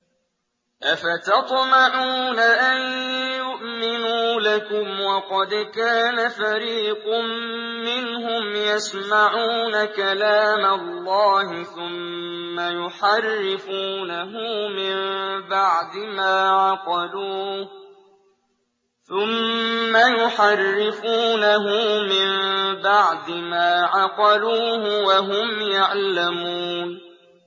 ۞ أَفَتَطْمَعُونَ أَن يُؤْمِنُوا لَكُمْ وَقَدْ كَانَ فَرِيقٌ مِّنْهُمْ يَسْمَعُونَ كَلَامَ اللَّهِ ثُمَّ يُحَرِّفُونَهُ مِن بَعْدِ مَا عَقَلُوهُ وَهُمْ يَعْلَمُونَ